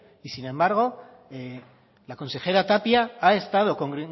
y sin embargo la consejera tapia ha estado con